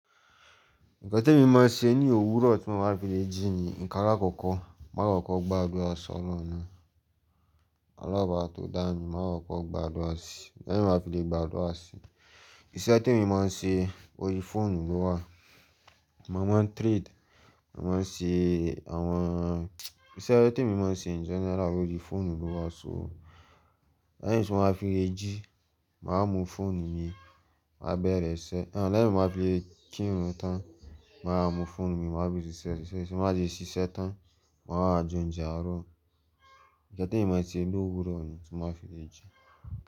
Nǹkan témi máa ń ṣe ní òwúrọ̀ tí mo bá fi lè jí ni, ǹkan alákọ́kọ̀ máa kọ́kọ́ gb'àdúà s’Ọlọ́run náà. Ọlọhun ọba tó dámi máa kọ́kọ́ gbàdúrà sì, lẹ́yìn tí n bá fi lè gb’àdúà sì Ìṣẹ́ tí mo máa ń ṣe orí i fóònù ló wà. Mo máa ń trade, mo máa ń ṣe àwọn, iṣẹ́ témi máa ń ṣe in general orí i fóònù ló wà só. Lẹ́yìn tí mo bá fi lè jí, màá mú fóònù mi, màá bẹ̀rẹ̀ iṣẹ́. Ẹ̀, lẹ́yìn tí mó máa fi lè kírun tán, màá mú fóònù mi, màá fi ṣíṣe ṣíṣe. Ti mo bá ti ṣíṣe tán, ma a wáà jẹ oúnjẹ àárọ̀. Ǹkan témi máa ń ṣe l’òwúrọ̀ ni tí n bá fi lè jí.